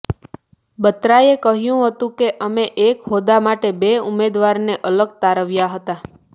બત્રાએ કહ્યું હતું કે અમે એક હોદ્દા માટે બે ઉમેદવારને અલગ તારવ્યા હતા